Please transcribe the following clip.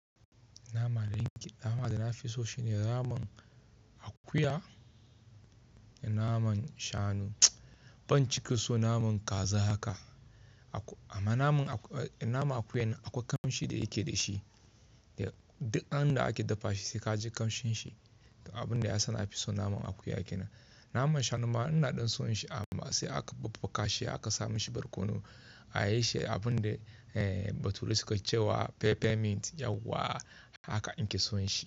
Naman da nake, naman da nafiso shine naman akuya da naman shanu. Ban cika so naman kaza haka. Amma naman akuya akwai kamshi da yake dashi, duk an da ake dafa shi sikaji kamshin shi. Abinda yasa nafiso naman akuya nan. Naman shanu ma ina ɗin son shi amma sai aka babbaka shi aka sa mishi barkono. A yishi abinda bature suka cewa peppermint yauwa haka in ke son shi.